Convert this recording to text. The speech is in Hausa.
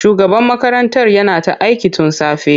Shugaban makarantar yana ta aiki tun safe.